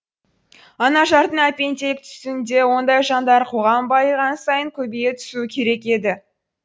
анажардың әпенделік түсінігінде ондай жандар қоғам байыған сайын көбейе түсуі керек еді